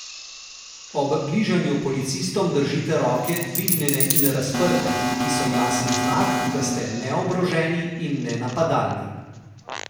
Ob bližanju policistom držite roke dvignjene in razprte, ki so jasen znak, da ste neoboroženi in nenapadalni.